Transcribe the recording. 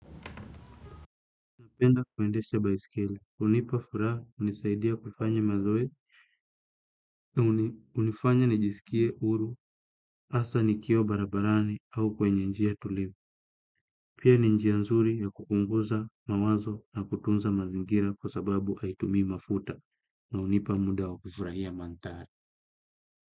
Napenda kuendesha baiskeli. Hunipa furaha, hunisaidia kufanya mazoezi. Hunifanya nijisikie huru, hasa nikiwa barabarani au kwenye njia tulivu. Pia ni njia nzuri ya kupunguza mawazo na kutunza mazingira kwa sababu haitumii mafuta. Na hunipa muda wa kufurahia mandhari.